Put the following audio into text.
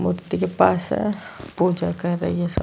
मूर्ति के पास है पूजा कर रही है सब --